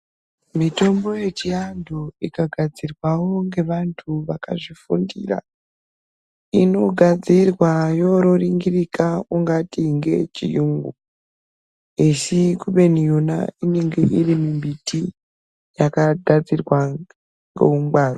Mitombo yechiandu ikagadzirwao ngevanthu vakazvifundira inogadzirwa yororingirika ungati ngeyechiyungu esi kubeni yona inenge iri mumbiti yakagadzirwa neungwaru.